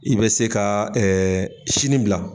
I bɛ se ka sini bila